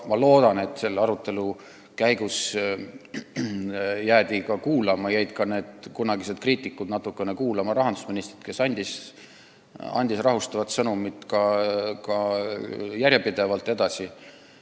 Ma loodan, et selle arutelu käigus jäid ka need kunagised kriitikud natukene kuulama rahandusministrit, kes rahustavat sõnumit järjepidevalt edasi on andnud.